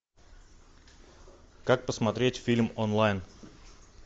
как посмотреть фильм онлайн